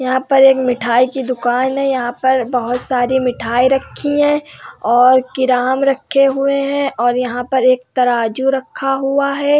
यहाँ पर एक मिठाई की दुकान हैं और यहाँ पर बहोत सारी मिठाई रखी हैं और किराम रखे हुए हैं और यहाँ पर एक तराजू रखा हुआ है।